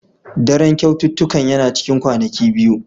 Daren kyaututtukan yana cikin kwanaki biyu.